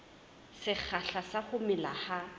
sekgahla sa ho mela ha